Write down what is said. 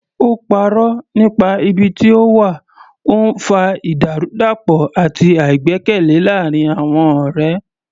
Ó parọ́ nípa ibi tí ó wà, ó ń fa ìdàrúdàpọ̀ àti àìgbẹ́kẹ̀lé láàárín àwọn ọ̀rẹ́.